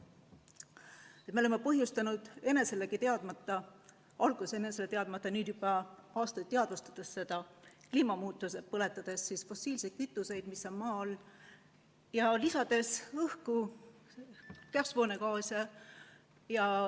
Me oleme selle põhjustanud enese teadmata – alguses enese teadmata, nüüd juba aastaid teadvustades seda kliima muutmist, põletades fossiilseid kütuseid, mis on maa all, ja lisades õhku kasvuhoonegaase.